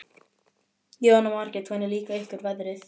Jóhanna Margrét: Hvernig líka ykkur veðrið?